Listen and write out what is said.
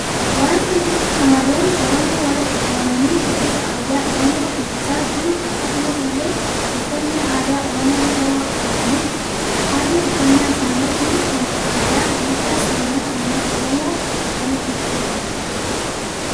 Waanti Kun shamarroonni Oromo walitti qabamani shubbisa aadaa oromoo shubbisa jiru akkasumas ille uffannan aadaa oromoo shawaa uffatanii jiru. Haalli uffanna isaani Kun aadaa duudhaa seenaa uummata oromoo akkamitti ibsuu danda'a?